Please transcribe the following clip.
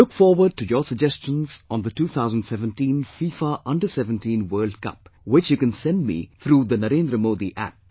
I look forward to your suggestions on the 2017 FIFA Under17 World Cup which you can send me through NarendraModiApp